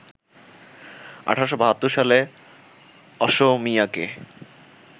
১৮৭২ সালে অসমীয়াকে